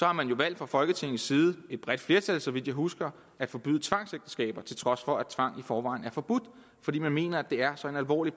har man jo valgt fra folketingets side et bredt flertal så vidt jeg husker at forbyde tvangsægteskaber til trods for at tvang i forvejen er forbudt fordi man mener at det er så alvorlig